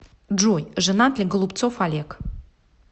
джой женат ли голубцов олег